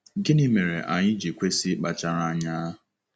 Gịnị mere anyị ji kwesị ịkpachara anya?